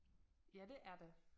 Ja det er det